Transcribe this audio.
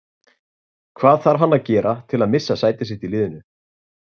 Hvað þarf hann að gera til að missa sæti sitt í liðinu?